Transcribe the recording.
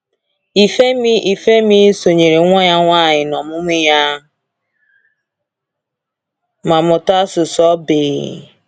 Ifemi Ifemi sonyeere nwa ya nwanyị n’ọmụmụ ya ma mụta asụsụ ogbi.